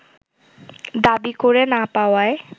দাবি করে না পাওয়ায়